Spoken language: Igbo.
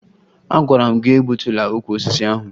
Agwara m gị egbutula ukwu osisi ahụ!